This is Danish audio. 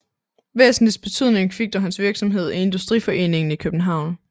Væsentligst betydning fik dog hans virksomhed i Industriforeningen i København